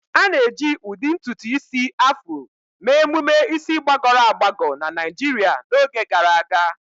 A na-eji ụdị ntutu isi Afro mee emume isi gbagọrọ agbagọ na Naijiria n'oge gara aga.